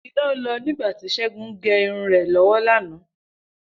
Iná lọ nígbà tí Ṣẹ́gun ń gẹ irun rẹ̀ lọ́wọ́ lánàá